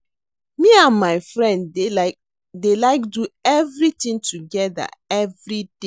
Me and my friend dey like do everything together everyday